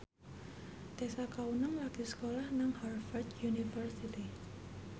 Tessa Kaunang lagi sekolah nang Harvard university